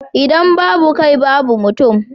idan babu kai babu mutum